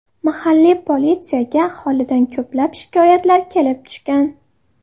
Mahalliy politsiyaga aholidan ko‘plab shikoyatlar kelib tushgan.